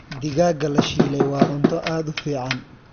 Digaagga la shiilay waa cunto aad u fiican.